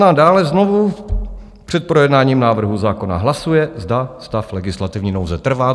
No a dále znovu před projednáním návrhu zákona hlasuje, zda stav legislativní nouze trvá.